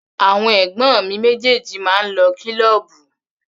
Àwọn ẹ̀gbọ́n mi méjèèjì máa ń lọ kílọ́ọ̀bù.